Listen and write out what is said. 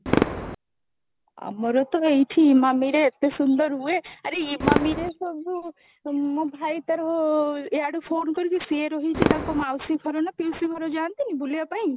ଆମର ତ ଏଇଠି ଇମାମିରେ ଏତେ ସୁନ୍ଦର ହୁଏ, ଆରେ ଇମାମି ରେ ସବୁ ମୋ ଭାଇ ତାର ୟାଡୁ phone କରିକି ସେ ରହିଛି ତା ମାଉସୀ ଘର ନା ପିଉସୀ ଘର କୁ ଜାନ୍ତିନି ବୁଲିବା ପାଇଁ?